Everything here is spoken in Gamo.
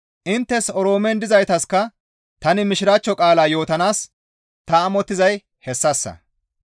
Inttes Oroomen dizaytaska tani mishiraachcho qaala yootanaas ta amottizay hessassa.